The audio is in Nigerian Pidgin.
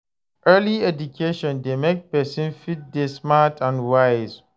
Early education de make persin fit de smart and wise